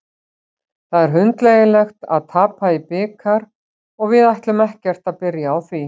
Það er hundleiðinlegt að tapa í bikar og við ætlum ekkert að byrja á því.